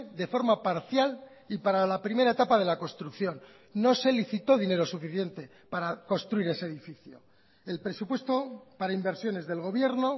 de forma parcial y para la primera etapa de la construcción no se licitó dinero suficiente para construir ese edificio el presupuesto para inversiones del gobierno